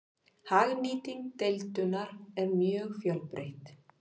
Hagnýting deildunar er mjög fjölbreytt.